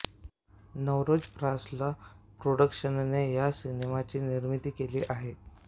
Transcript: नवरोज प्रासला प्राॅडक्शनने या सिनेमाची निर्मिती केली आहे